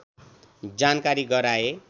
जानकारी गराए